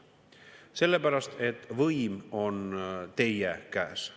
Sellepärast, et võim on teie käes.